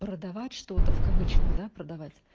продавать что-то в кавычках да продавать